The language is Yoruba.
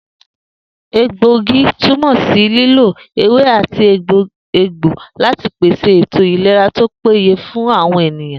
Egbòogi túmò̩ sí lílo ewé àti egbò láti pèsè ètò ìlera tó péye fún àwo̩n ènìyàn